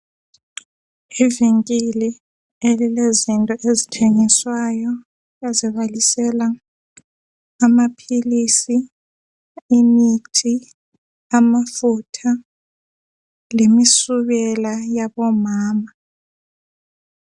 Ivinkili elilezinto ezithengiswayo ezibalisela amaphilisi, imithi, amafutha, lemisubela yabomama.